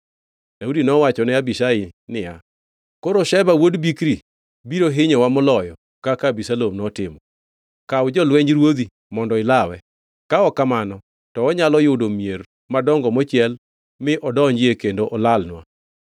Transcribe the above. Daudi nowachone Abishai niya, “Koro Sheba wuod Bikri biro hinyowa moloyo kaka Abisalom notimo. Kaw jolwenj ruodhi mondo ilawe, ka ok kamano to onyalo yudo mier madongo mochiel mi odonjie kendo olalnwa.”